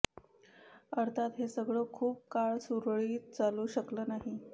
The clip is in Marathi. अर्थात हे सगळं खूप काळ सुरळीत चालू शकलं नाही